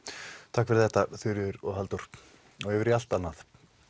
takk fyrir þetta Þuríður og Halldór og yfir í allt annað